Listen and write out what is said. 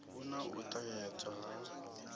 hu na u ṱahedzwa ha